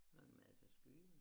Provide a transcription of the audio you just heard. Der masser skyer